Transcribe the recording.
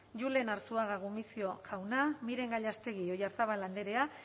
julen arzuaga gumuzio jauna miren gallástegui oyarzábal andrea